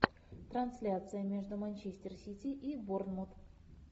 трансляция между манчестер сити и борнмут